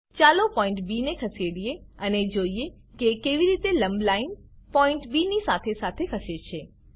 ચાલો point B ને ખસેડીએ અને જોઈએ કે કેવી રીતે લંબ લાઈન પોઈન્ટ બી ની સાથે સાથે ખસે છે